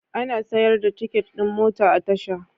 Ana siyar da tiket ɗin mota a tasha.